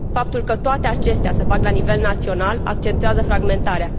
Faptul că toate acestea se fac la nivel național accentuează fragmentarea.